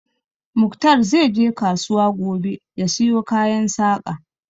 Muktar zai je kasuwa gobe ya siyo kayan Saƙa